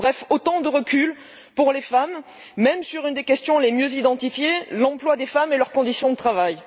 Bref, voilà autant de reculs pour les femmes, même sur une des questions les mieux identifiées l'emploi des femmes et leurs conditions de travail.